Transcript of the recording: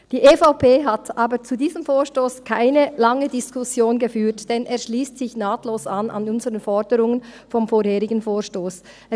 Die EVP hat zu diesem Vorstoss keine lange Diskussion geführt, denn er schliesst sich nahtlos an die Forderungen unseres vorherigen Vorstosses an.